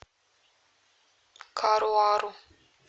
каруару